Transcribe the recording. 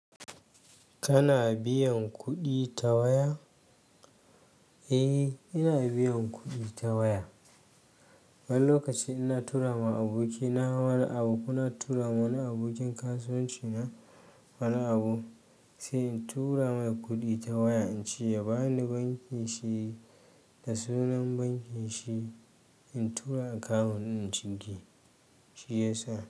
Kana biyan kuɗi ta waya? Eh, ina biyan kuɗi ta waya. Wani lokaci ina tura ma aboki na wani abu, kuna tura ma wani abokin kasuwanci na wani abu, sai in tura mai kuɗi ta waya, in ce ya ba ni banki shi da sunan bankin shi in tura akawun ɗin ciki, shi yasa.